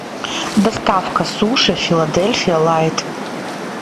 доставка суши филадельфия лайт